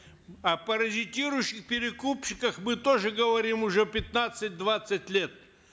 о паразитирующих перекупщиках мы тоже говорим уже пятнадцать двадцать лет